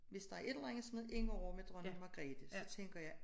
Hvis der er et eller andet som er inde over med Dronning Magrethe så tænker jeg